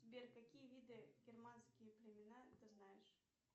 сбер какие виды германские племена ты знаешь